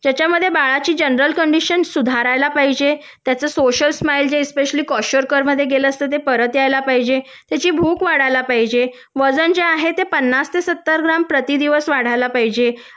ज्याच्यामध्ये बाळाची general condition सुधारायला पाहिजे त्याचं सोशल स्माईल जे कॉशरकर मध्ये गेलं असतं ते परत यायला पाहिजे त्याची भूक वाढायला पाहिजे वजन जे आहे ते प्रति दिवस पन्नास ते सत्तर ग्रॅम वाढायला पाहिजे